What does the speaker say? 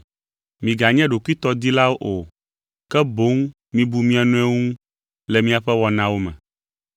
Miganye ɖokuitɔdilawo o, ke boŋ mibu mia nɔewo ŋu le miaƒe wɔnawo me.